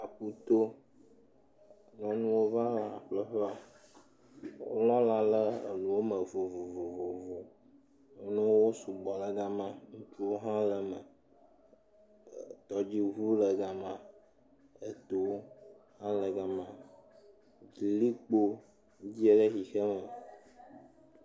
Aƒu to, nyɔnua aɖewo va lã ƒleƒe. Wolɔ lã le nu me vovovovo. Nuwo sugbɔ ɖe gema. Ŋutsuwo hã le eme. Tɔdziŋu le gema. Eto hã le gema. Likpo dze ɖe ʋixeme.